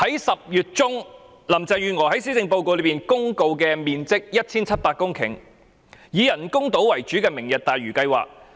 10月中，林鄭月娥在施政報告公告面積 1,700 公頃、以人工島為主題的"明日大嶼"計劃。